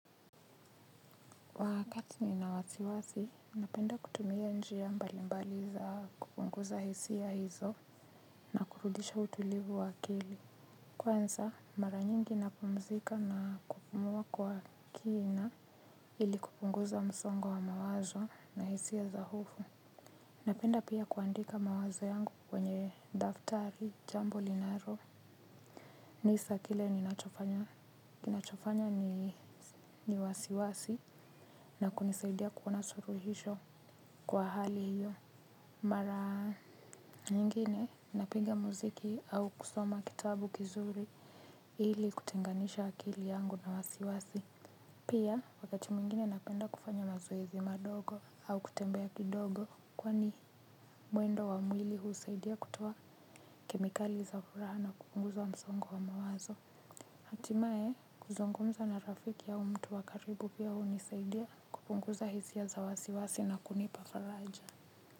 Wakati nina wasiwasi, napenda kutumia njia mbalimbali za kupunguza hisia hizo na kurudisha utulivu wa akili. Kwanza, mara nyingi napumzika na kupumua kwa kina ili kupunguza msongo wa mawazo na hisia za hofu. Napenda pia kuandika mawazo yangu kwenye daftari jambo linaro. Wasiwasi na kunisaidia kuwa na suluhishi kwa hali hiyo mara nyingine napiga muziki au kusoma kitabu kizuri ili kutenganisha akili yangu na wasiwasi pia wakati mwingine napenda kufanya mazoezi madogo au kutembea kidogo kwani mwendo wa mwili huusaidia kutoa kemikali za furaa na kupunguza msongo wa mawazo hatimae kuzungumza na rafiki au mtu wa karibu pia hunisaidia kupunguza hisia za wasiwasi na kunipa faraja.